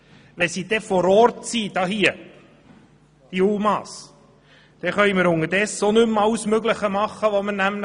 Wenn die UMA hier vor Ort sind, können wir unterdessen nämlich auch nicht mehr alles Mögliche tun, was wir wollen.